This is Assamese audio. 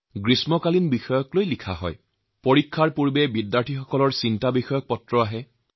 পৰীক্ষাৰ আগতে পৰীক্ষাৰ্থীসকলৰ পৰাও তেওঁলোকৰ পৰীক্ষাৰ দুশ্চিন্তাৰ চিঠিও মই লাভ কৰিছো